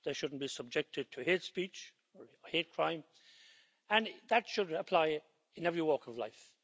They shouldn't be subjected to hate speech or hate crime, and that should apply in every walk of life.